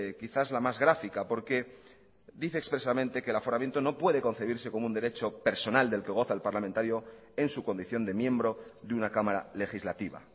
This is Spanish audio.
quizás la más gráfica porque dice expresamente que el aforamiento no puede concebirse como un derecho personal del que goza el parlamentario en su condición de miembro de una cámara legislativa